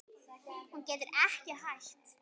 Hún getur ekki hætt.